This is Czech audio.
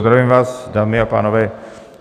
Zdravím vás, dámy a pánové.